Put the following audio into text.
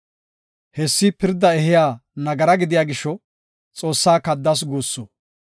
Hessi pirda ehiya nagara gidiya gisho Xoossaa kaddas guussu.